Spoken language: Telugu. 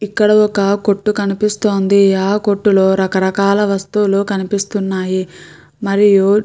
ఇక్కడ ఒక కొట్టు కనిపిస్తోంది. ఆ కొట్టులో రకరకాల వస్తువులు కనిపిస్తున్నాయి. మరియు --